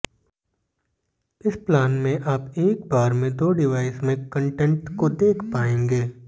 इस प्लान में आप एक बार में दो डिवाइस में कंटेंट को देख पाएंगे